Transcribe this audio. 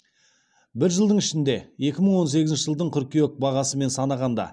бір жылдың ішінде екі мың он сегізінші жылдың қыркүйек бағасымен санағанда